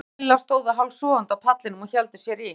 Kata og Lilla stóðu hálfsofandi á pallinum og héldu sér í.